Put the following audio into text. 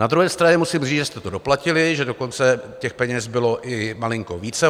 Na druhé straně musím říct, že jste to doplatili, že dokonce těch peněz bylo i malinko více.